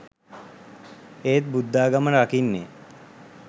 ඒත් බුද්ධාගම රකින්නේ